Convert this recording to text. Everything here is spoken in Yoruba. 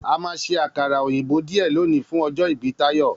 A máa ṣe àkàrà òyìnbó díẹ̀ lòní fún ọjọ́ ìbí Táyọ̀.